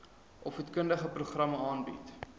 opvoedkundige programme aanbied